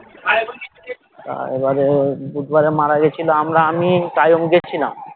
তা এবারে বুধবারে মারা গেছিলো আমরা আমি . গেছিলাম